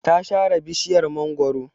Ta sare bishiyar mangwaro.